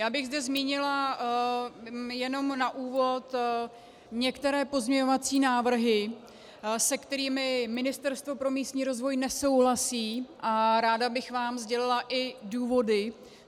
Já bych zde zmínila jenom na úvod některé pozměňovací návrhy, se kterými Ministerstvo pro místní rozvoj nesouhlasí, a ráda bych vám sdělila i důvody.